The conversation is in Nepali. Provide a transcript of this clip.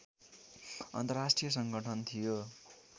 अन्तर्राष्ट्रिय संगठन थियो